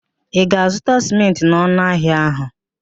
Ị ga-azụta sịmentị n'ọnụ ahịa ahụ?